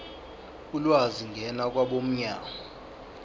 ulwazi ngena kwabomnyango